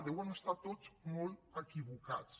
deuen estar tots molt equivocats